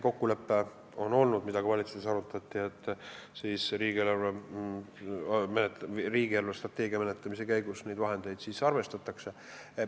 Kokkulepe, mida ka valitsuses arutati, on see, et riigi eelarvestrateegia menetlemise käigus neid vahendeid arvestatakse.